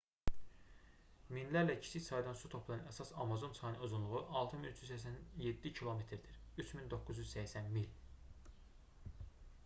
minlərlə kiçik çaydan su toplayan əsas amazon çayının uzunluğu 6387 km-dir 3980 mil